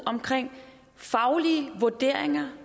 omkring faglige vurderinger